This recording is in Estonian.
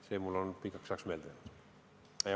See on mulle pikaks ajaks meelde jäänud.